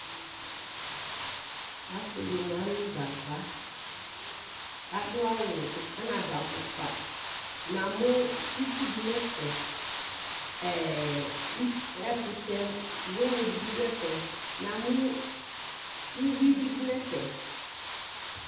Asɛdini aluu gagba kana duafukpa namu itsuu di nɛfɛ ɛɛɛ ɛkutɛ unee dibi duɛfɛ namu uwii bi nɛfɛ